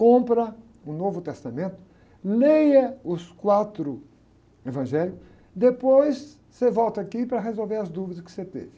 Compra o Novo Testamento, leia os quatro evangélicos, depois você volta aqui para resolver as dúvidas que você teve.